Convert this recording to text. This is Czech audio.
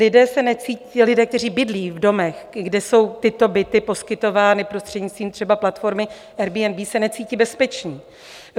Lidé, kteří bydlí v domech, kde jsou tyto byty poskytovány prostřednictvím třeba platformy Airbnb, se necítí bezpeční.